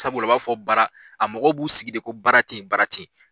Sabula u b'a fɔ bara, a mɔgɔ b'u sigi de ko baara ten ye baara ten ye.